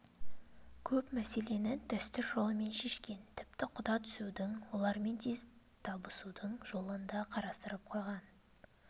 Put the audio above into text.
көп мәселені дәстүр жолымен шешкен тіпті құда түсудің олармен тез табысудың жолын да қарастырып қойған